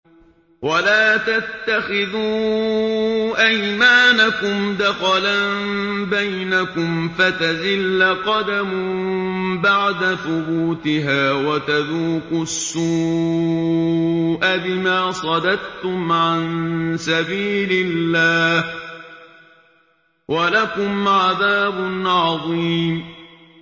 وَلَا تَتَّخِذُوا أَيْمَانَكُمْ دَخَلًا بَيْنَكُمْ فَتَزِلَّ قَدَمٌ بَعْدَ ثُبُوتِهَا وَتَذُوقُوا السُّوءَ بِمَا صَدَدتُّمْ عَن سَبِيلِ اللَّهِ ۖ وَلَكُمْ عَذَابٌ عَظِيمٌ